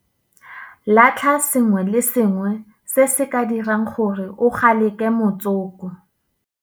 Latlha sengwe le sengwe se se ka dirang gore o kgalege motsoko.